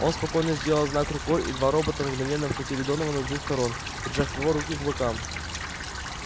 он спокойно сделал знак рукой и два робота мгновенно обхватили донована с двух сторон прижав его руки к бокам